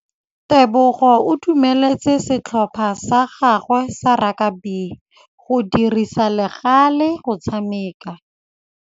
Tebogô o dumeletse setlhopha sa gagwe sa rakabi go dirisa le galê go tshameka.